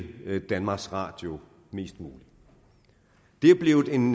danmarks radio mest muligt det er blevet en